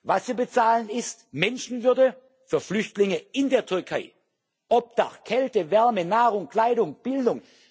Was Sie bezahlen, ist Menschenwürde für Flüchtlinge in der Türkei Obdach, Kälte, Wärme, Nahrung, Kleidung, Bildung.